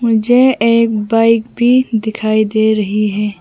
मुझे एक बाइक भी दिखाई दे रही है।